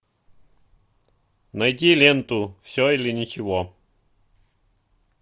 найти ленту все или ничего